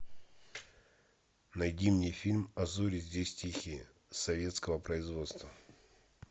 найди мне фильм а зори здесь тихие советского производства